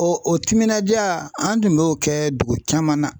O o timinandiya an tun b'o kɛ dugu caman na.